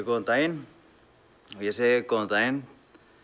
góðan daginn ég segi góðan daginn